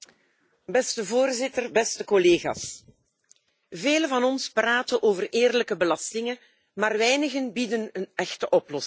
Beste Voorzitter, beste collega's, velen van ons praten over eerlijke belastingen, maar weinigen bieden een echte oplossing.